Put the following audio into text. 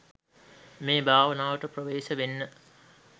මේ භාවනාවට ප්‍රවේශ වෙන්න